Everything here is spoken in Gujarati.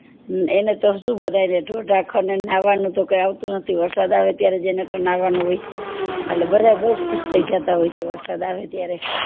એને તો સુ બધાય ને ઢોર ધાફ્લ ને નાવનું તો કઈ આવતું નથી વરસાદ આવે ત્યારે એને તો નાવનું હોય બધા બૌ ખુશ થય જતા હોય છે વરસાદ આવે ત્યારે